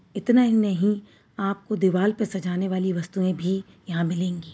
इतना ही नहीं आपको दीवाल पे सजाने वाली वस्तुएँ भी यहाँ मिलेंगी।